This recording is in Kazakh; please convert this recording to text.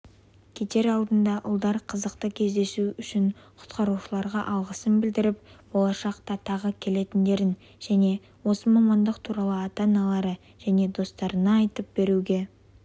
кетер алдында ұлдар қызықты кездесу үшін құтқарушыларға алғысын білдіріп болашақта тағы келетіндерін және осы мамандық туралы ата-аналары және достарына айтып беруге